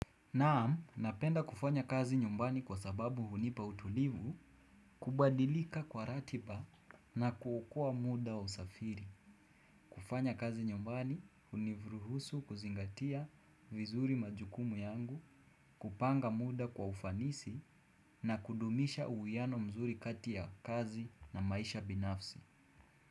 Naam, napenda kufanya kazi nyumbani kwa sababu hunipa utulivu, kubadilika kwa ratiba na kuokua muda wa usafiri. Kufanya kazi nyumbani, huniruhusu kuzingatia vizuri majukumu yangu, kupanga muda kwa ufanisi na kudumisha uwiano mzuri kati ya kazi na maisha binafsi.